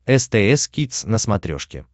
стс кидс на смотрешке